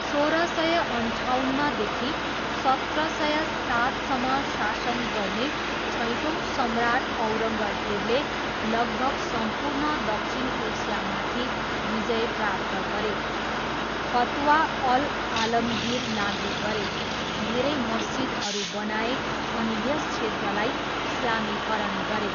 सोह्र सय अन्ठाउन्नदेखि सत्र सय सातसम्म शासन गर्ने छैटौँ सम्राट औरङ्गजेबले लगभग सम्पूर्ण दक्षिण एसियामाथि विजय प्राप्त गरे, फतवा अल आलमगिर लागु गरे, धेरै मस्जिदहरू बनाए अनि यस क्षेत्रलाई इस्लामीकरण गरे।